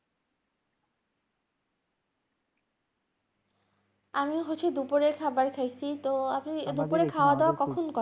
আমি হচ্ছে দুপুরে খাবার খাইছি, তো আপনি এ দুপুরে খাওয়াদাওয়া কখন করেন?